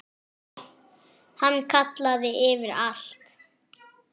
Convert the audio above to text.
Hann kallaði yfir alla.